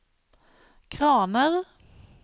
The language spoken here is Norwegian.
kraner